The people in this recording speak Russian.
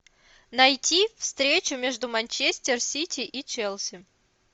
найти встречу между манчестер сити и челси